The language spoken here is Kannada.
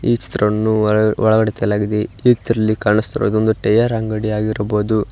ಈ ಚಿತ್ರವನ್ನು ಒಳಗಡೆ ತೆಗೆಯಲಾಗಿದೆ ಇದರಲ್ಲಿ ಕಾಣಿಸುತ್ತಿರುವುದು ಒಂದು ಟೈಯರ್ ಅಂಗಡಿ ಆಗಿರಬಹುದು.